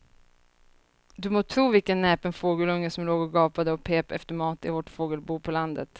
Du må tro vilken näpen fågelunge som låg och gapade och pep efter mat i vårt fågelbo på landet.